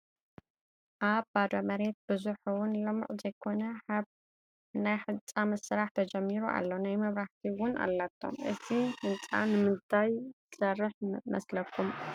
ኣብ ባዶ መሬት ብዙሕ ውን ልሙዕ ዘይኮነ ሓብ ናይ ህንፃ ስራሕ ተጀሚሩ ኣሎ፡፡ ናይ መብራህቲ ውን ኣላቶም፡፡ እዚ ህንፃ ንምንታይ ዝስራ መስለኩም?